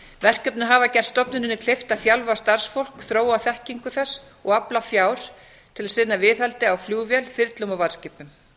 verkefnin hafa gert stofnuninni kleift að þjálfa starfsfólk þróa þekkingu þess og afla fjár til að sinna viðhaldi á flugvél þyrlum og varðskipum